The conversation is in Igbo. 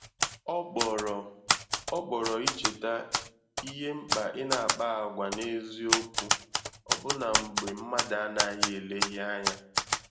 Ọ kpọrọ Ọ kpọrọ icheta ìhè mkpa i na-akpa àgwà n’eziokwu ọbụna mgbe mmadụ anaghi eleghị anya.